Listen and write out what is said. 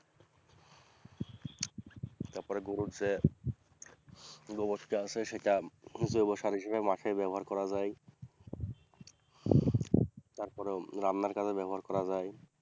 তারপরে গরুর যে গোবরটা আছে সেটা জৈব সার হিসাবে মাঠে ব্যবহার করা যায় তারপরে রান্নার কাজেও ব্যবহার করা যায়।